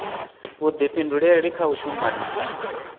vhuḓifhinduleli kha u shuma na